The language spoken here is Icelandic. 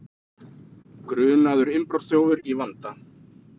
Grunaður innbrotsþjófur í vanda